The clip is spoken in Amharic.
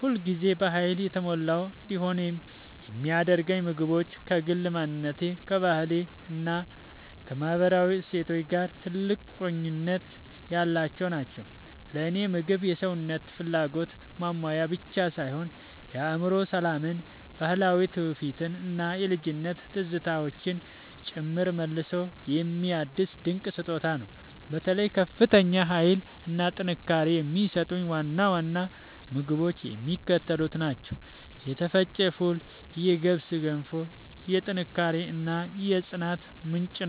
ሁል ጊዜ በኃይል የተሞላሁ እንድሆን የሚያደርጉኝ ምግቦች ከግል ማንነቴ፣ ከባህሌ እና ከማህበራዊ እሴቶቼ ጋር ጥልቅ ቁርኝት ያላቸው ናቸው። ለእኔ ምግብ የሰውነትን ፍላጎት ማሟያ ብቻ ሳይሆን የአእምሮ ሰላምን፣ ባህላዊ ትውፊትን እና የልጅነት ትዝታዎችን ጭምር መልሶ የሚያድስ ድንቅ ስጦታ ነው። በተለይ ከፍተኛ ኃይል እና ጥንካሬ የሚሰጡኝን ዋና ዋና ምግቦች የሚከተሉት ናቸው የተፈጨ ፉል የገብስ ገንፎ፦ የጥንካሬ እና የጽናት ምንጭ